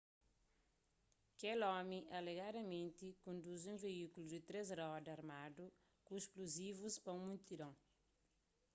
kel omi alegadamenti konduzi un veíkulu di três roda armadu ku splozivus pa un multidon